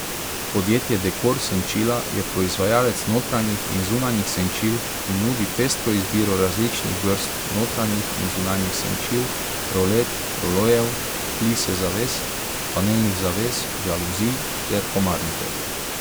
Podjetje Dekor senčila je proizvajalec notranjih in zunanjih senčil in nudi pestro izbiro različnih vrst notranjih in zunanjih senčil, rolet, rolojev, plise zaves, panelnih zaves, žaluzij ter komarnikov.